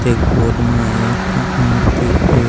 ते गोद मा एक मूर्ति एक --